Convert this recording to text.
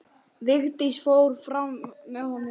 Vigdís fór fram með honum.